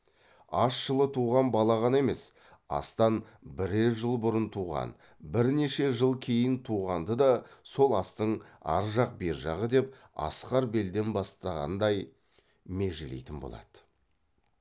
ас жылы туған бала ғана емес астан бірер жыл бұрын туған бірнеше жыл кейін туғанды да сол астың аржақ бержағы деп асқар белден бастағандай межелейтін болады